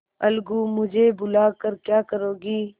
अलगूमुझे बुला कर क्या करोगी